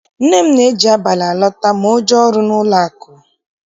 Nne m na-eji abalị alọta ma o jee ọrụ n'ụlọakụ.